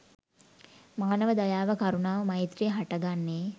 මානව දයාව, කරුණාව, මෛත්‍රිය හට ගන්නේ